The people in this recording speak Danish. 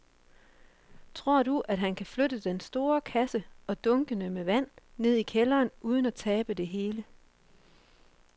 Tror du, at han kan flytte den store kasse og dunkene med vand ned i kælderen uden at tabe det hele?